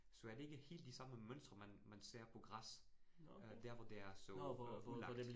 Så er det ikke helt de samme mønstre, man man ser på græs øh der, hvor det er så øh ødelagt